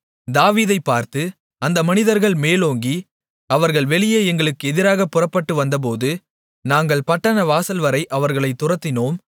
தாவீதைப் பார்த்து அந்த மனிதர்கள் மேலோங்கி அவர்கள் வெளியே எங்களுக்கு எதிராகப் புறப்பட்டு வந்தபோது நாங்கள் பட்டணவாசல்வரை அவர்களைத் துரத்தினோம்